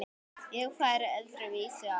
Ég færi öðru vísi að.